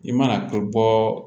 I mana ko bɔɔ